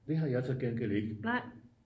det har jeg så til gengæld ikke